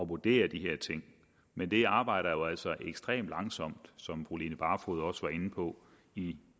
vurdere de her ting men det arbejder jo altså ekstremt langsomt som fru line barfod også var inde på i